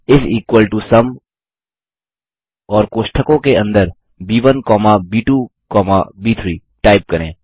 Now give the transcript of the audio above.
इस equal to sum और कोष्ठकों के अंदर ब1 कौमा ब2 कौमा ब3 टाइप करें